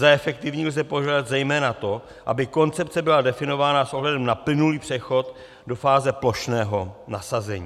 Za efektivní lze považovat zejména to, aby koncepce byla definována s ohledem na plynulý přechod do fáze plošného nasazení.